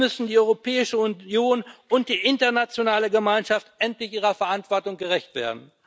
Hier müssen die Europäische Union und die internationale Gemeinschaft endlich ihrer Verantwortung gerecht werden.